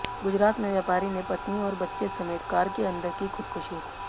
गुजरात में व्यापारी ने पत्नी और बच्चे समेत कार के अंदर की ख़ुदकुशी